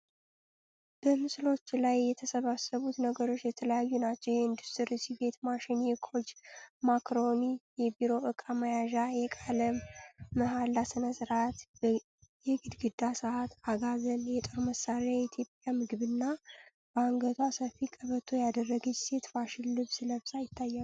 በምስሎቹ ላይ የተሰባሰቡት ነገሮች የተለያዩ ናቸው። የኢንዱስትሪ ስፌት ማሽን፣ የኮጅ ማካሮኒ፣ የቢሮ ዕቃ መያዣ፣ የቃለ መሐላ ሥነ ሥርዓት፣ የግድግዳ ሰዓት፣ አጋዘን፣ የጦር መሳሪያ፣ የኢትዮጵያ ምግብና በአንገቷ ሰፊ ቀበቶ ያደረገች ሴት ፋሽን ልብስ ለብሳ ይታያሉ።